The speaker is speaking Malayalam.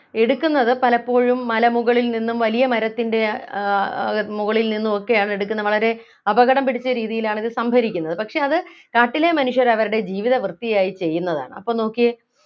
എടുക്കുന്നത് പലപ്പോഴും മലമുകളിൽ നിന്നും വലിയ മരത്തിൻ്റെ ആഹ് ആഹ് മുകളിൽ നിന്നുമൊക്കെയാണ് എടുക്കുന്നത് വളരെ അപകടം പിടിച്ച രീതിയിലാണ് ഇത് സംഭരിക്കുന്നത് പക്ഷേ അത് കാട്ടിലെ മനുഷ്യർ അവരുടെ ജീവിതവൃത്തിയായി ചെയ്യുന്നതാണ് അപ്പൊ നോക്കിയേ